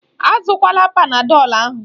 Azụkwala Panadọlu ahụ.